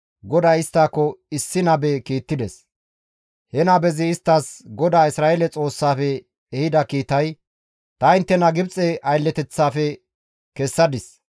GODAY isttako issi nabe kiittides; he nabezi isttas GODAA Isra7eele Xoossaafe ehida kiitay, «Ta inttena Gibxe aylleteththafe kessadis.